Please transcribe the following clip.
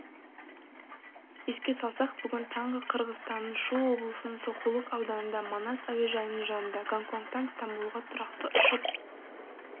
еске салсақ бүгін таңғы қырғызстанның шу облысының сокулук ауданында манас әуежайының жанында гонгконгтан стамбулға тұрақты ұшып